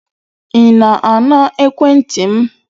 Ị na-ana ekwentị m?